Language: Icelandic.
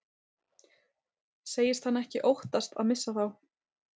Segist hann ekki óttast að missa þá.